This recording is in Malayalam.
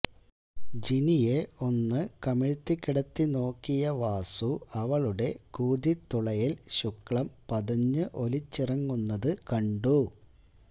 ജിനിയെ ഒന്ന് കമിഴിതിക്കിടത്തി നോക്കിയ വാസു അവളുടെ കൂതിത്തുളയിൽ ശുക്ലം പതഞ്ഞ് ഒലിച്ചിറങ്ങുന്നത് കണ്ടു